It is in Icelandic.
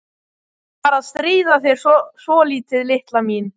Bara að stríða þér svolítið, litla mín.